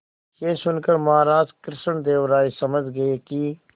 यह सुनकर महाराज कृष्णदेव राय समझ गए कि